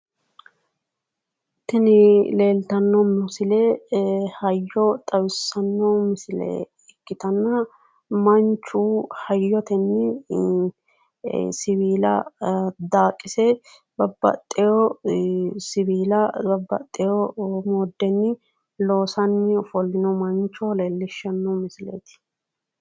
Tini leeltanno misile hayyo xawissanno misile ikkitanna manchu hayyotenni siwiila daaqise babbaxxiwo siwiila babbaxxiwo mooddenni loosanni ofollino mancho leellishshanno misileeti.